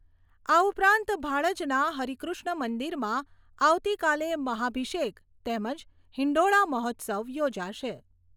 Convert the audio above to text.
આ ઉપરાંત ભાડજના હરિકૃષ્ણ મંદિરમાં આવતીકાલે મહાઅભિષેક તેમજ હિંડોળા મહોત્સવ યોજાશે.